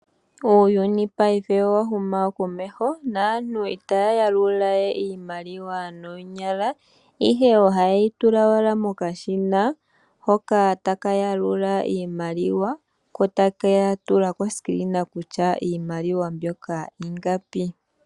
Uuyuni paife owa huma komeho, naantu itaya yalula we iimaliwa noonyala, ihe oha yeyi tula owala mokashina, hoka taka yalula iimaliwa, ko taka tula kefano kutya iimaliwa mbyoka ingapi.